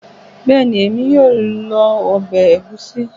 Bẹ́ẹ̀ni, èmi yóò lo obe egusi